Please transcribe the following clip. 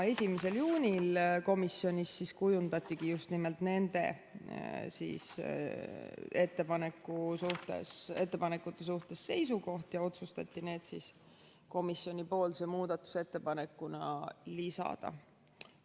1. juunil komisjonis kujundati just nimelt nende ettepanekute suhtes seisukoht ja otsustati need komisjoni muudatusettepanekuna lisada.